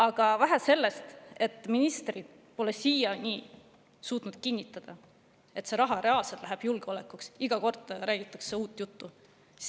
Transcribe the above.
Aga vähe sellest, et ministrid pole siiani suutnud kinnitada, et see raha reaalselt läheb julgeolekuks, lisaks räägitakse iga kord uut juttu.